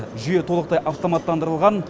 жүйе толықтай автоматтандырылған